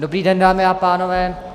Dobrý den, dámy a pánové.